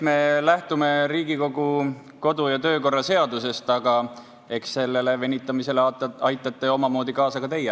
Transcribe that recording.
Me lähtume Riigikogu kodu- ja töökorra seadusest, aga eks sellele venitamisele aitate omamoodi kaasa ka teie.